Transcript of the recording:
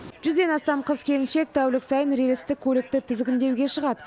жүзден астам қыз келіншек тәулік сайын рельсті көлікті тізгіндеуге шығады